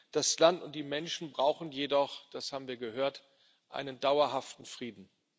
Das Land und die Menschen brauchen jedoch das haben wir gehört einen dauerhaften Frieden.